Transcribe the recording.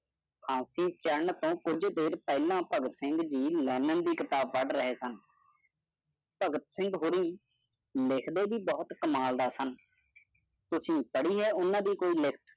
ਫਾਂਸੀ ਛੱਡਣ ਤੋਂ ਕੁਛ ਦੇਰ ਪਹਿਲਾ ਭਗਤ ਸਿੰਘ ਦੀ ਦੀ ਕਿਤਾਬਾਂ ਪੈਡ ਰਹੇ ਸਨ। ਭਗਤ ਸਿੰਘ ਹੁਰੇ ਲਿਖਦੇ ਭੀ ਭੂਤ ਕਮਾਲ ਦਾ ਸਨ। ਤੁਸੀਂ ਪੜਿ ਹੈ ਓਹਨਾ ਦੀ ਕੋਈ ਲਿਖਤ?